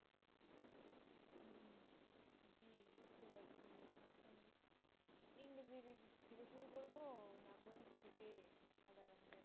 হম জি বুঝতে পারছি এখন ইংরেজির দিক থেকে শুরু করবো না গণিত থেকে না সাধারণ জ্ঞান